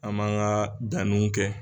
An b'an ka danniw kɛ